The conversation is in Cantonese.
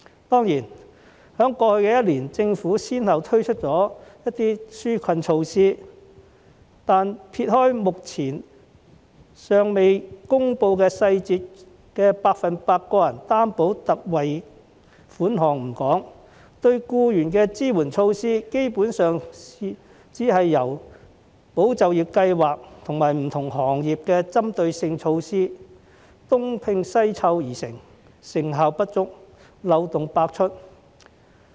當然，在過去一年，政府先後推出了一些紓困措施，但撇開目前尚未公布細節的個人特惠貸款計劃不說，對僱員的支援措施，基本上只是由"保就業"計劃及不同行業的針對性措施東拼西湊而成，成效不足、漏洞百出。